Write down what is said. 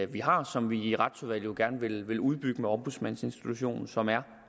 vi har som vi i retsudvalget jo gerne vil vil udbygge med ombudsmandsinstitutionen som er